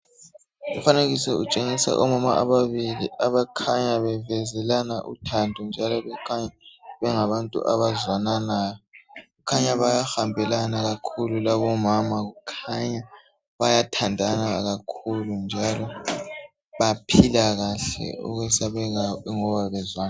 Umfanekiso utshengisa omama ababili abakhanya bevezelana uthando njalo bekhanya bengabantu abazwananayo. Kukhanya bayahambelana kakhulu labomama. Kukhanya bayathandana kakhulu njalo baphila kahle okwesabekayo be... ngoba bezwa ...